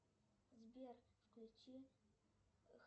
сбер включи